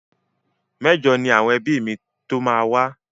Mẹ́jọ ni àwọn ẹbí mi tó máa wá.